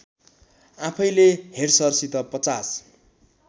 आफैले हेड्सरसित ५०